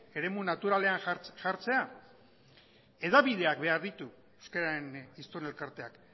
eremu naturalean jartzea hedabideak behar ditu euskararen hiztun elkarteak